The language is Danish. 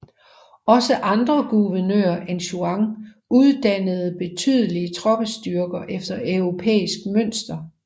Også andre guvernører end Juan uddannede betydelige troppestyrker efter europæisk mønster